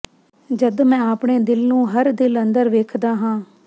ਜਦ ਮੈਂ ਆਪਣੇ ਦਿਲ ਨੂੰ ਹਰ ਦਿਲ ਅੰਦਰ ਵੇਖਦਾ ਹਾਂ